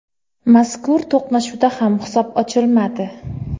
Mazkur to‘qnashuvda ham hisob ochilmadi.